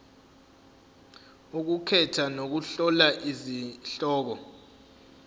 ukukhetha nokuhlola izihloko